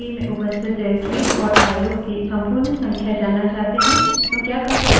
मानिए कि हम वर्तमान directories निर्देशिका में उपस्थित directories निर्देशिकाओं और फाइलों की संपूर्ण संख्या जानना चाहते हैं